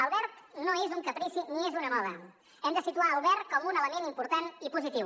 el verd no és un caprici ni és una moda hem de situar el verd com un element important i positiu